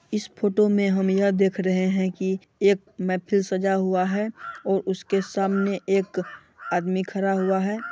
इस फोटो में हम यह देख रहे हैं की एक मेहफिल सजा हुआ है और उसके सामने एक आदमी खड़ा हुआ है ।